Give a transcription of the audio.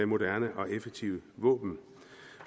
moderne og effektive våben